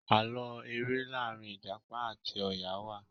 Àlọ èrè làrin ìjàpá àti ọya wá.